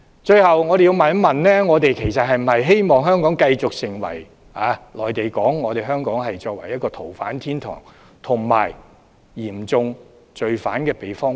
最後，我要問一問，我們是否希望香港繼續成為內地所說的逃犯天堂，以及嚴重罪犯的避風塘？